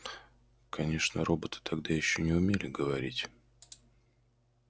конечно роботы тогда ещё не умели говорить